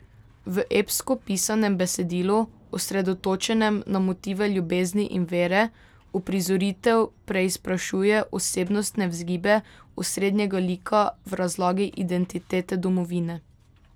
V epsko pisanem besedilu, osredotočenem na motive ljubezni in vere, uprizoritev preizprašuje osebnostne vzgibe osrednjega lika v razlagi identitete domovine.